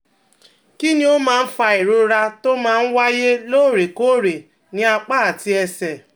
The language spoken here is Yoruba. Kí ni ó máa ń fa ìrora tó máa ń waáyé lóòrèkóòrè ní apá àti ẹsẹ̀?